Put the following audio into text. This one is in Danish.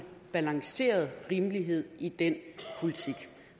balanceret rimelighed i den politik